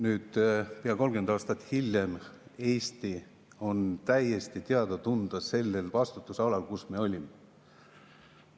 Nüüd, pea 30 aastat hiljem, on Eesti täiesti teada-tuntud sellel vastutusalal, kus me olime.